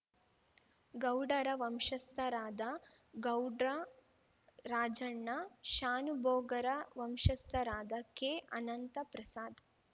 ಗೌಡರ ವಂಶಸ್ಥರಾದ ಗೌಡ್ರ ರಾಜಣ್ಣ ಶಾನೂಬೋಗರ ವಂಶಸ್ಥರಾದ ಕೆಅನಂತಪ್ರಸಾದ್‌